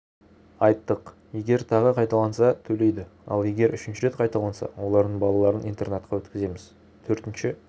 айттық егер тағы қайталанса төлейді ал егер үшінші рет қайталанса олардың балаларын интернатқа өткіземіз төртінше